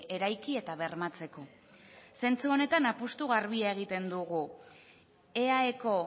eraiki eta bermatzeko zentzu honetan apustu garbia egiten dugu eaeko